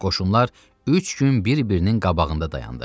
Qoşunlar üç gün bir-birinin qabağında dayandı.